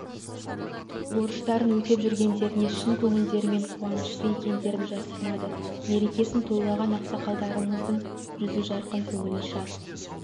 борыштарын өтеп жүргендеріне шын көңілдерімен қуанышты екендерін жасырмады мерекесін тойлаған ақсақалымыздың жүзі жарқын көңілі шат